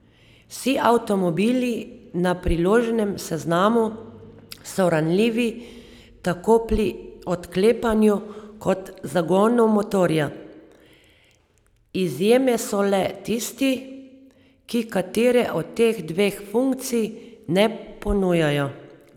Vsi avtomobili na priloženem seznamu so ranljivi tako pri odklepanju kot zagonu motorja, izjeme so le tisti, ki katere od teh dveh funkcij ne ponujajo.